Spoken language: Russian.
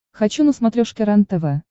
хочу на смотрешке рентв